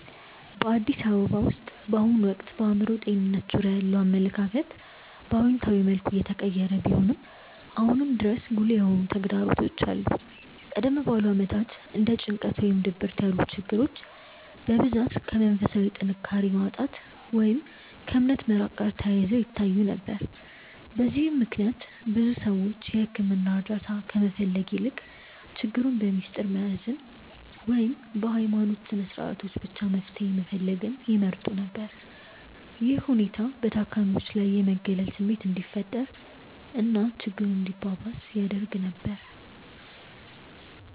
በአዲስ አበባ ውስጥ በአሁኑ ወቅት በአእምሮ ጤንነት ዙሪያ ያለው አመለካከት በአዎንታዊ መልኩ እየተቀየረ ቢሆንም፣ አሁንም ድረስ ጉልህ የሆኑ ተግዳሮቶች ይታያሉ። ቀደም ባሉት ዓመታት እንደ ጭንቀት ወይም ድብርት ያሉ ችግሮች በብዛት ከመንፈሳዊ ጥንካሬ ማጣት ወይም ከእምነት መራቅ ጋር ተያይዘው ይታዩ ነበር። በዚህም ምክንያት ብዙ ሰዎች የሕክምና እርዳታ ከመፈለግ ይልቅ ችግሩን በምስጢር መያዝን ወይም በሃይማኖታዊ ስነስርዓቶች ብቻ መፍትሄ መፈለግን ይመርጡ ነበር። ይህ ሁኔታ በታካሚዎች ላይ የመገለል ስሜት እንዲፈጠር እና ችግሩ እንዲባባስ ያደርግ ነበር።